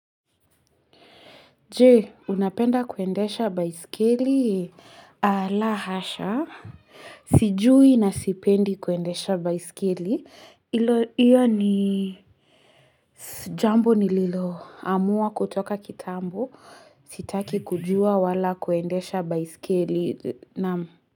Je, unapenda kuendesha baiskili? La hasha. Sijui na sipendi kuendesha baiskeli. Ilo, hiyo ni jambo nililo. Amua kutoka kitambo. Sitaki kujua wala kuendesha baisikili.